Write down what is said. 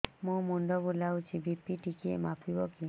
ମୋ ମୁଣ୍ଡ ବୁଲାଉଛି ବି.ପି ଟିକିଏ ମାପିବ କି